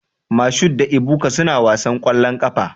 Mashood da Ebuka suna wasan ƙwallon ƙafa.